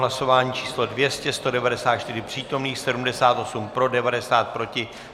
Hlasování číslo 200, 194 přítomných, 78 pro, 90 proti.